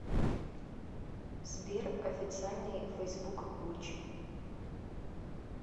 сбер официальный фейсбук гуччи